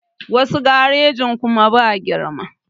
Wasu garejin kuma ba girma